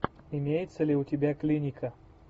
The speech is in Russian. имеется ли у тебя клиника